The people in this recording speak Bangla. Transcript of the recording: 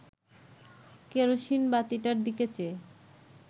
কেরোসিন বাতিটার দিকে চেয়ে